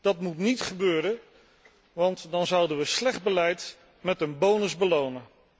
Dat moet niet gebeuren, want dan zouden wij slecht beleid met een bonus belonen.